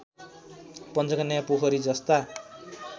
पञ्चकन्या पोखरी जस्ता